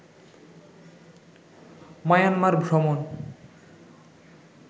Myanmar ভ্রমণ